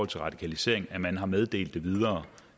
til radikalisering at man har meddelt det videre